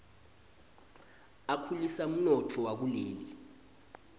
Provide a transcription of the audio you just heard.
akhulisa umnotfo wakuleli